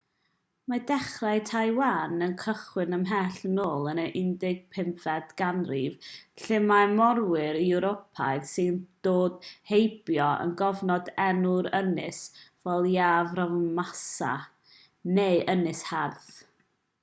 mae dechrau taiwan yn cychwyn ymhell yn ôl yn y 15fed ganrif lle mae morwyr ewropeaidd sy'n dod heibio yn cofnodi enw'r ynys fel ilha formosa neu ynys hardd